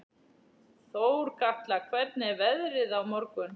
Þorkatla, hvernig er veðrið á morgun?